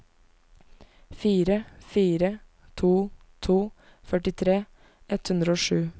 fire fire to to førtitre ett hundre og sju